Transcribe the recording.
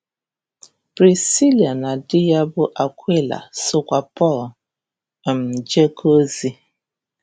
Prisila na di ya bụ Akwịla sokwa Pọl um jekọọ ozi.